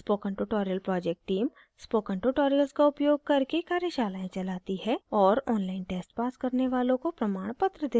spoken tutorial project team spoken tutorials का उपयोग करके कार्यशालाएं चलाती है और online tests पास करने वालों को प्रमाणपत्र देते हैं